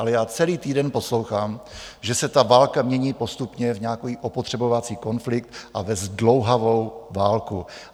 Ale já celý týden poslouchám, že se ta válka mění postupně v nějaký opotřebovací konflikt a ve zdlouhavou válku.